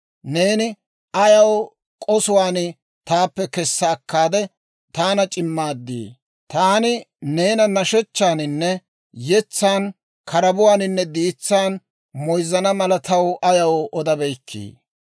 Neeni ayaw k'osuwaan taappe kessa akkaade, taana c'immaadii? Taani neena nashechchaaninne yetsaan, karabuwaaninne diitsaan moyzzana mala taw ayaw odabeykkii?